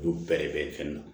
Olu bɛrɛ bɛn fɛn na